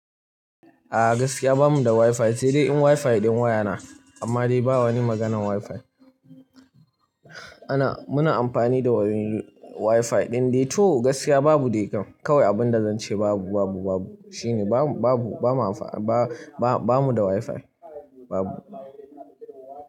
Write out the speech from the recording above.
A gaskiya bamu da wifi, sai dai in wifi ɗin waya na amma dai ba wani maganan wifi. Ana, muna amfani da wurin wifi ɗin dai to gaskiya babu dai kam kawai abin da zan ce babu, babu, babu shine babu, babu, ba mu, ba, ba mu da wifi babu.